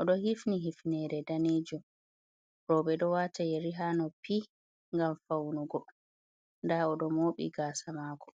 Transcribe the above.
oɗo hifni hifnere danejum, roɓe ɗo wata yeri ha noppi ngam faunugo nda oɗo mobi gasa mako.